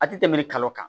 A ti tɛmɛ kalo kan